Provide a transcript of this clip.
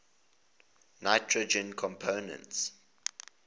nitrogen compounds